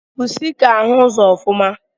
Pusi na afụsi ụzọ ike.